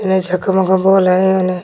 एने झकमक बोल हय ओने।